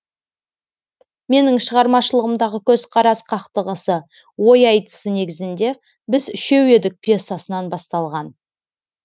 менің шығармашылығымдағы көзқарас қақтығысы ой айтысы негізінде біз үшеу едік пьесасынан басталған